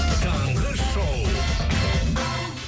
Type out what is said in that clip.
таңғы шоу